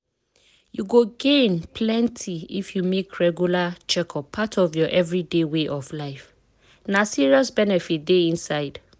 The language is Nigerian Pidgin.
you go gain plenty if you make regular checkup part of your everyday way of life. na serious benefit dey inside.